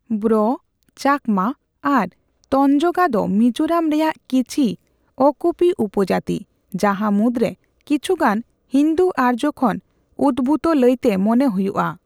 ᱵᱨᱚ, ᱪᱟᱠᱢᱟ ᱟᱨ ᱛᱚᱧᱡᱚᱜᱟ ᱫᱚ ᱢᱤᱡᱳᱨᱟᱢ ᱨᱮᱭᱟᱜ ᱠᱤᱪᱷᱤ ᱚᱼᱠᱩᱯᱤ ᱩᱯᱚᱡᱟᱛᱤ, ᱡᱟᱦᱟ ᱢᱩᱫ ᱨᱮ ᱠᱤᱪᱷᱩᱜᱟᱱ ᱦᱤᱱᱫᱩᱼ ᱟᱨᱡᱳ ᱠᱷᱚᱱ ᱩᱛᱵᱷᱩᱛ ᱞᱟᱹᱭᱛᱮ ᱢᱚᱱᱮ ᱦᱚᱭᱩᱜ ᱟ ᱾